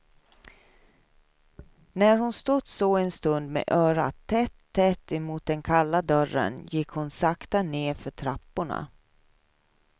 När hon stått så en stund med örat tätt tätt emot den kalla dörren gick hon sakta ned för trapporna.